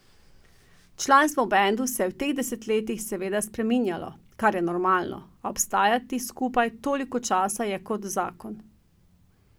Članstvo v bendu se je v teh desetletjih seveda spreminjalo, kar je normalno, a obstati skupaj toliko časa je kot zakon.